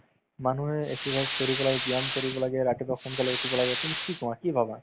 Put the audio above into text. মানুহে exercise কৰিব লাগে, ব্যায়াম কৰিব লাগে, ৰাতিপুৱা সোনকালে উঠিব লাগে তুমি কি কোৱা কি ভাবা